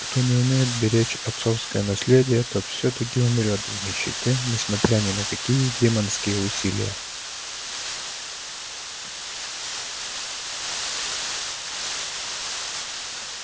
кто не умеет беречь отцовское наследие тот всё-таки умрёт в нищете несмотря ни на какие демонские усилия